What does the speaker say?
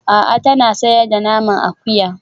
A'a tana sayar da naman akuya